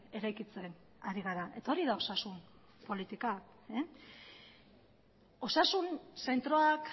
eraikitzen ari gara eta hori da osasun politika osasun zentroak